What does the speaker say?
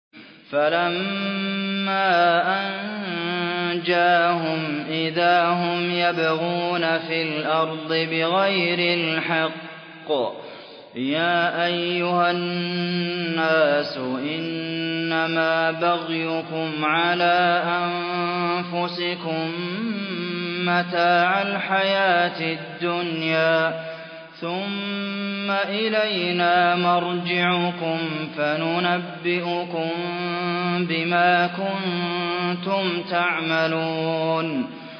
فَلَمَّا أَنجَاهُمْ إِذَا هُمْ يَبْغُونَ فِي الْأَرْضِ بِغَيْرِ الْحَقِّ ۗ يَا أَيُّهَا النَّاسُ إِنَّمَا بَغْيُكُمْ عَلَىٰ أَنفُسِكُم ۖ مَّتَاعَ الْحَيَاةِ الدُّنْيَا ۖ ثُمَّ إِلَيْنَا مَرْجِعُكُمْ فَنُنَبِّئُكُم بِمَا كُنتُمْ تَعْمَلُونَ